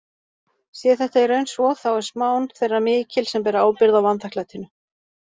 Sé þetta í raun svo þá er smán þeirra mikil sem bera ábyrgð á vanþakklætinu.